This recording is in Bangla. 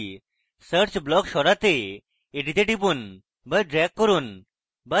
search block সরাতে এটিতে টিপুন বা ড্রেগ করুন অথবা